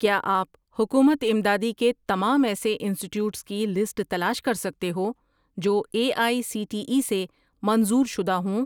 کیا آپ حکومت امدادی کے تمام ایسے انسٹیٹیوٹس کی لسٹ تلاش کر سکتے ہو جو A I C T E سے منظور شدہ ہوں؟